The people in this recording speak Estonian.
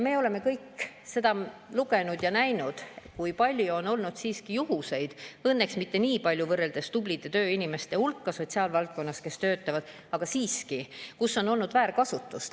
Me oleme kõik lugenud ja näinud, kui palju on olnud juhtumeid – õnneks mitte nii palju võrreldes tublide tööinimeste hulgaga, kes töötavad sotsiaalvaldkonnas, aga siiski –, et on olnud väärkasutust.